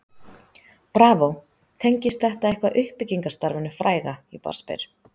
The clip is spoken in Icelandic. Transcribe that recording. BRAVÓ, tengist þetta eitthvað uppbyggingarstarfinu fræga ég bara spyr?